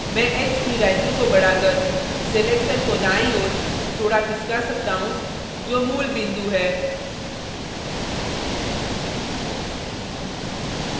मैं x की value को बढ़ाकर selection को दायीं ओर थोड़ा खिसका सकता हूँ जो मूल बिंदु है